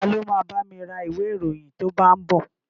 Ta ló ma bámi ra ìwé ìròyìn tó bá ń bọ̀?